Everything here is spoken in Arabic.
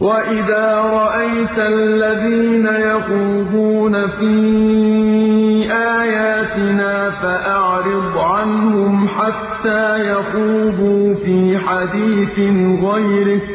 وَإِذَا رَأَيْتَ الَّذِينَ يَخُوضُونَ فِي آيَاتِنَا فَأَعْرِضْ عَنْهُمْ حَتَّىٰ يَخُوضُوا فِي حَدِيثٍ غَيْرِهِ ۚ